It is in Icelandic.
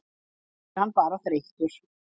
Kannski er hann bara þreyttur.